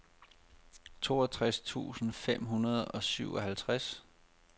toogtres tusind fem hundrede og syvoghalvtreds